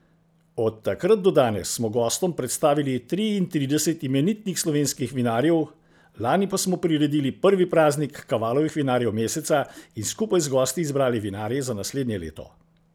Od takrat do danes smo gostom predstavili triintrideset imenitnih slovenskih vinarjev, lani pa smo priredili prvi praznik Kavalovih vinarjev meseca in skupaj z gosti izbrali vinarje za naslednje leto.